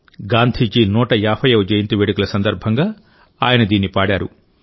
గాంధీజీ 150వ జయంతి వేడుకల సందర్భంగా ఆయన దీన్ని పాడారు